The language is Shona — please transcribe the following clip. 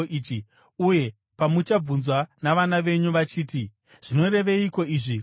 Uye pamuchabvunzwa navana venyu vachiti, ‘Zvinoreveiko izvi kwamuri?’